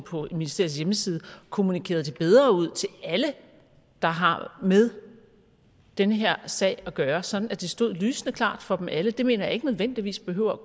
på ministeriets hjemmeside og kommunikerede det bedre ud til alle der har med denne her sag at gøre sådan at det stod lysende klart for dem alle det mener jeg ikke nødvendigvis behøver